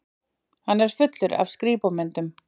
Hann er fullur af skrípamyndum.